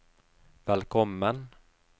velkommen